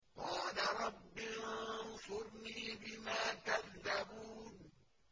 قَالَ رَبِّ انصُرْنِي بِمَا كَذَّبُونِ